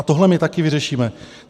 A tohle my taky vyřešíme.